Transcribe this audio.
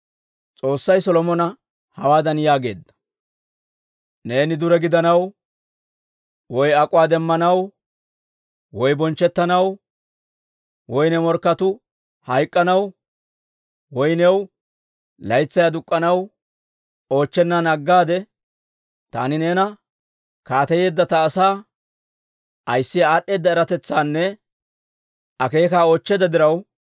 S'oossay Solomona hawaadan yaageedda; «Neeni dure gidanaw, woy ak'uwaa demmanaw, woy bonchchettanaw, woy ne morkketuu hayk'anaw, woy new laytsay aduk'k'anaw oochchennan aggade, taani neena kaateyeedda ta asaa ayissiyaa aad'd'eeda eratetsaanne akeekaa oochcheedda diraw,